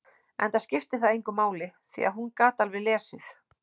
Enda skipti það engu máli, því að hún gat alveg lesið.